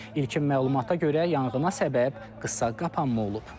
İlkin məlumata görə yanğına səbəb qısa qapanma olub.